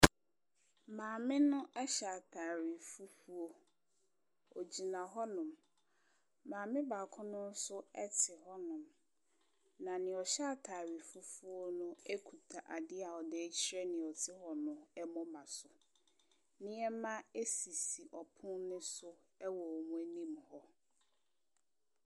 Maame no ɛhyɛ ataare fufuo. Ogyina hɔnom. Maame baako no nso ɛte hɔnom. Na neɛ ɔhyɛ ataare fufuo no akuta adeɛ a ɔde kyerɛ deɛ ɔte hɔ no ɛmoma so nneɛma asisi ɔpon no so ɛwɔ wɔn anim hɔ.